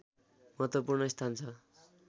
महत्त्वपूर्ण स्थान छ